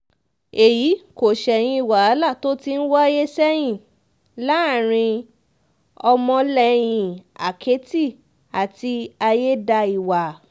èyí kò ṣẹ̀yìn wàhálà tó ti ń wáyé sẹ́yìn láàrin ọmọlẹ́yìn àkẹ́tì àti ayédáiwa